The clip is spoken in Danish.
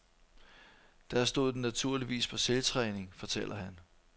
Der stod den naturligvis på selvtræning, fortæller han.